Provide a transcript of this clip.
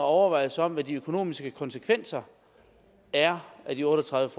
overvejelser om hvad de økonomiske konsekvenser er af de otte og tredive